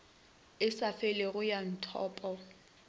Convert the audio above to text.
e sa felego ya methopo